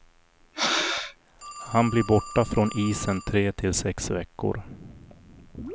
Han blir borta från isen tre till sex veckor.